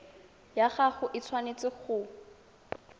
ya gago e tshwanetse go